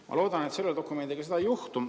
Ma loodan, et selle dokumendiga seda ei juhtu.